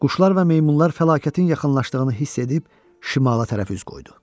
Quşlar və meymunlar fəlakətin yaxınlaşdığını hiss edib şimala tərəf üz qoydu.